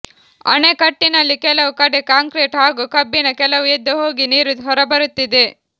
ಅಣೆಕಟ್ಟಿನಲ್ಲಿ ಕೆಲವು ಕಡೆ ಕಾಂಕ್ರೀಟ್ ಹಾಗೂ ಕಬ್ಬಿಣ ಕೆಲವು ಎದ್ದು ಹೋಗಿ ನೀರು ಹೊರಬರುತ್ತಿದೆ